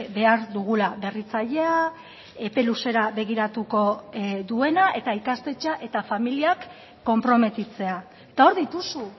behar dugula berritzailea epe luzera begiratuko duena eta ikastetxea eta familiak konprometitzea eta hor dituzu